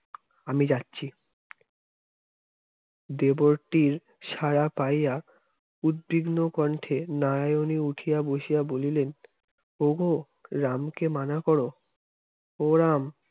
আমি যাচ্ছি দেবরটির সাড়া পাইয়া উত্তীর্ণ কন্ঠে নারায়ণে উঠিয়া বসিয়া বলিলেন ওগো রাম কে মানা করো ও রাম